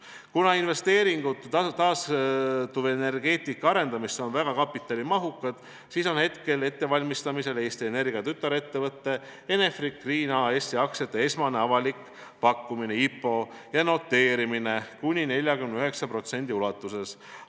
Kuna investeeringud taastuvenergeetika arengusse on väga kapitalimahukad, siis on ettevalmistamisel Eesti Energia tütarettevõtte Enefit Green AS aktsiate esmane avalik pakkumine ja noteerimine kuni 49% ulatuses.